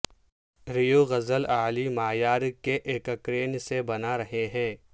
Rio غسل اعلی معیار کے ایککرین سے بنا رہے ہیں